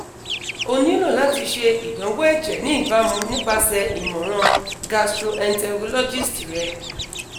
o nilo lati ṣe idanwo ẹjẹ ni ibamu nipase imọran gastroenterologist rẹ